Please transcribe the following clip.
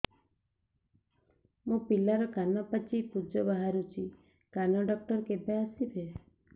ମୋ ପିଲାର କାନ ପାଚି ପୂଜ ବାହାରୁଚି କାନ ଡକ୍ଟର କେବେ ଆସିବେ